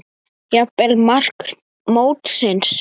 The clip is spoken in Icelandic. Jafnvel mark mótsins?